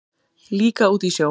Líka út í sjó.